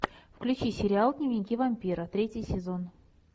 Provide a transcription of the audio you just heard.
включи сериал дневники вампира третий сезон